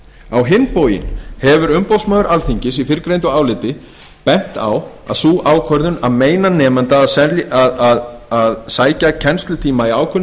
á hinn bóginn hefur umboðsmaður alþingis í fyrrgreindu áliti bent á að sú ákvörðun að meina nemanda að sækja kennslutíma í ákveðinni